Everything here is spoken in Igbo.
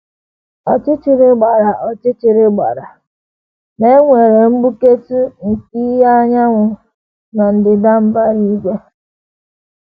Ọchịchịrị gbara Ọchịchịrị gbara, ma e nwere mgbuketụ nke ìhè anyanwụ na ndịda mbara igwe.